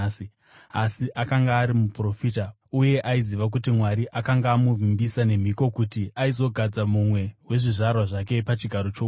Asi akanga ari muprofita uye aiziva kuti Mwari akanga amuvimbisa nemhiko kuti aizogadza mumwe wezvizvarwa zvake pachigaro choushe.